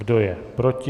Kdo je proti?